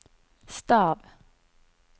stav